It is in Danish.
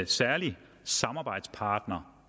særlig samarbejdspartner